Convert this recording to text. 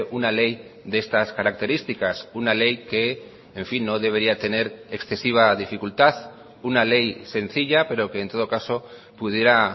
una ley de estas características una ley que en fin no debería tener excesiva dificultad una ley sencilla pero que en todo caso pudiera